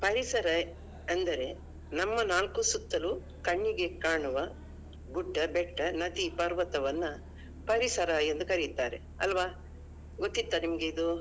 ಪರಿಸರ ಅಂದರೆ ನಮ್ಮ ನಾಲ್ಕು ಸುತ್ತುಲು ಕಣ್ಣಿಗೆ ಕಾಣುವ ಗುಡ್ಡ ಬೆಟ್ಟ ನದಿ ಪರ್ವತವನ್ನಾ ಪರಿಸರ ಎಂದು ಕರೆಯುತ್ತಾರೆ ಆಲ್ವಾ ಗೊತ್ತಿತ್ತಾ ನಿಮ್ಗೆ ಇದು?